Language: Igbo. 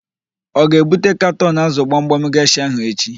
Ọ ga-ebute katọn ázụ̀ gbamgbam geshịa ahụ echi?